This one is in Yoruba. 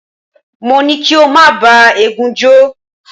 Mo ní kí o má bá eégún jó.